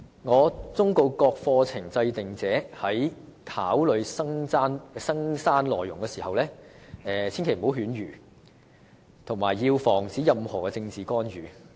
我忠告各課程制訂者，在考慮增刪課程內容時切勿犬儒，並須防止任何政治干預。